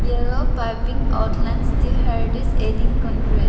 yellow piping outlines the contrast.